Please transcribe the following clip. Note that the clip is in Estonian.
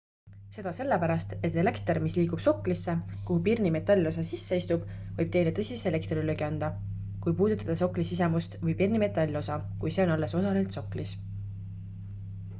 seda sellepärast et elekter mis liigub soklisse kuhu pirni metallosa sisse istub võib teile tõsise elektrilöögi anda kui puudutate sokli sisemust või pirni metallosa kui see on alles osaliselt soklis